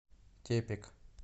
тепик